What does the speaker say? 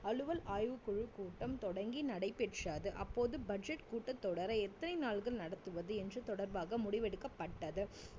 அலுவல் ஆய்வுக்குழு கூட்டம் தொடங்கி நடைபெற்றது அப்போது budget கூட்டத் தொடரை எத்தனை நாட்கள் நடத்துவது என்று தொடர்பாக முடிவெடுக்கப்பட்டது